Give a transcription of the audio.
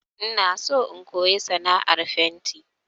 Ina so in koyi sana'ar fenti